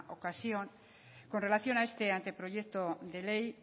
ocasión con relación a este anteproyecto de ley